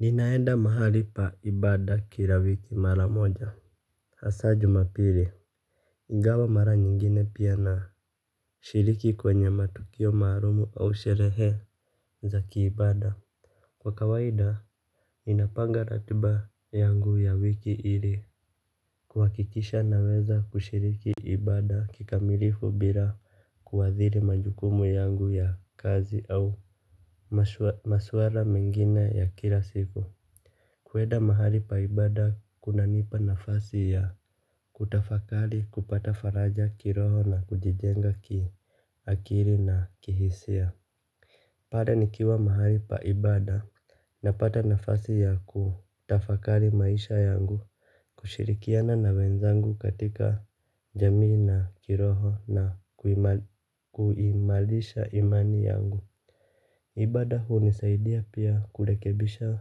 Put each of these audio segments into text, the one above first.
Ninaenda mahali pa ibada kila wiki mara moja. Hasaa jumapili ingawa mara nyingine pia na shiriki kwenye matukio mahalumu au sherehe za kiibada. Kwa kawaida ninapanga ratuba yangu ya wiki ili kuhakikisha naweza kushiriki ibada kikamilifu bila kuadhiri majukumu yangu ya kazi au maswala mengine ya kila siku. Kwenda mahali pa ibada kuna nipa nafasi ya kutafakari kupata faraja kiroho na kujijenga ki akili na kihisia. Pale nikiwa mahali pa ibada napata nafasi ya kutafakari maisha yangu kushirikiana na wenzangu katika jamii na kiroho na kuimarisha imani yangu. Ibada hunisaidia pia kurekebisha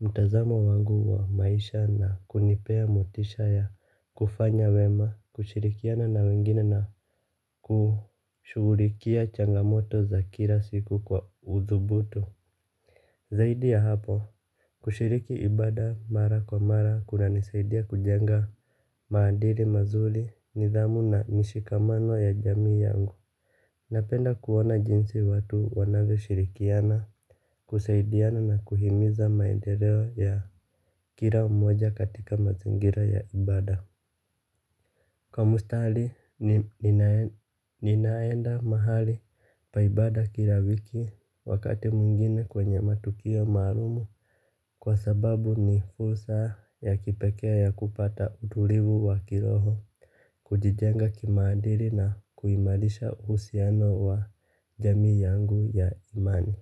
mtazamo wangu wa maisha na kunipea motisha ya kufanya wema kushirikiana na wengine na kushughulikia changamoto za kila siku kwa uzubuto. Zaidi ya hapo kushiriki ibada mara kwa mara kuna nisaidia kujenga maadili mazuri nidhamu na mishikamano ya jamii yangu. Napenda kuona jinsi watu wanavyoshirikiana, kusaidiana na kuhimiza maendeleo ya kila mmoja katika mazingira ya ibada. Kwa mustali ninaenda mahali pa ibada kila wiki wakati mwingine kwenye matokea maalumu. Kwa sababu ni fursa ya kipekee ya kupata utulivu wa kiroho kujijenga kimaadili na kuimarisha uhusiano wa jamii yangu ya imani.